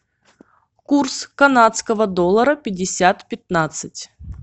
курс канадского доллара пятьдесят пятнадцать